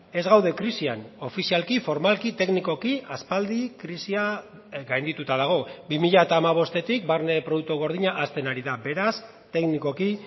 ez gaude krisian ofizialki formalki teknikoki aspaldi krisia gaindituta dago bi mila hamabostetik barne produktu gordina hazten ari da beraz teknikoki